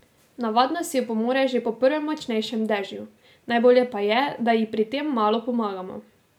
Navadno si opomore že po prvem močnejšem dežju, najbolje pa je, da ji pri tem malo pomagamo.